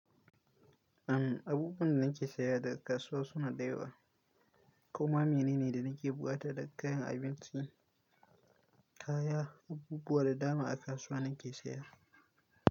Uhm, abubuwan da nake saya daga kasuwa suna da yawa. Kwam ma mene ne da nake buƙata daga kayan abinci, kaya, abubuwa da dama a kasuwa nake saya.